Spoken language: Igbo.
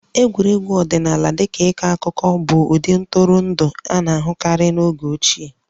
Egwuregwu ọdịnala dị ka ịkọ akụkọ anyị bụ ụdị ntụrụndụ a na-ahụkarị n'oge ochieq